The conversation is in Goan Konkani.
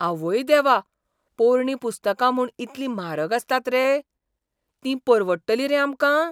आवय देवा! पोरणीं पुस्तका म्हूण इतली म्हारग आसतात रे? तीं परवडटलीं रे आमकां?